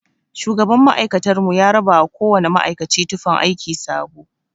Shugaban ma'aikatar mu ya rabawa kowana ma'aikaci tufan aiki sabo.